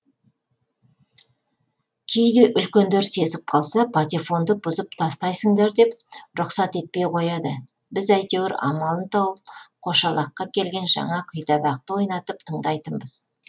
кейде үлкендер сезіп қалса патефонды бұзып тастайсындар деп рұқсат етпей қояды біз әйтеуір амалын тауып қошалаққа келген жаңа күйтабақты ойнатып тыңдайтынбыз